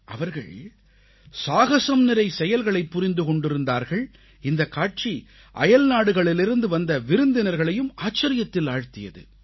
அவர்கள் சாகசம் நிறைந்த செயல்களைப் புரிந்து கொண்டிருந்தார்கள் இந்தக்காட்சி அயல்நாடுகளிலிருந்து வந்த விருந்தினர்களையும் ஆச்சரியத்தில் ஆழ்த்தியது